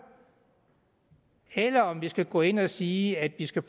eller om man skal gå ind at sige at vi skal